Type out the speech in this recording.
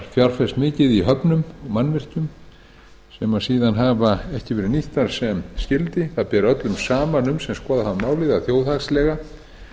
fjárfest í höfnum og mannvirkjum sem síðan hafa ekki verið nýtt sem skyldi öllum sem skoðað hafa málið ber saman um að